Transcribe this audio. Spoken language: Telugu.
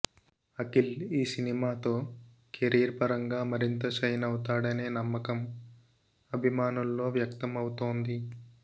అఖిల్ ఈ సినిమాతో కెరీర్ పరంగా మరింత షైన్ అవుతాడనే నమ్మకం అభిమానుల్లో వ్యక్తం అవుతోంది